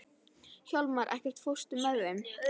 Hjálmar, ekki fórstu með þeim?